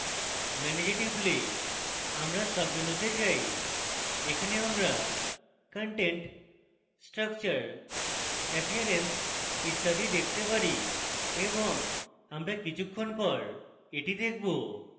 manage a টিপলে আমরা সাবমেনুতে যাই এখানে আমরা content structure appearance ইত্যাদি দেখতে পারি এবং আমরা কিছুক্ষণ পর এটি দেখবো